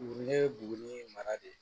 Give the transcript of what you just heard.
Ne ye buguni mara de ye